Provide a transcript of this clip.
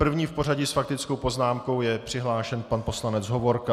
První v pořadí s faktickou poznámkou je přihlášen pan poslanec Hovorka.